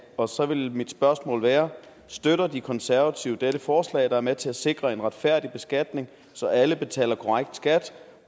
og så vil mit spørgsmål være støtter de konservative dette forslag der er med til at sikre en retfærdig beskatning så alle betaler korrekt skat